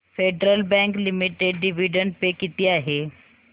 federal bank limited dividend pay किती आहे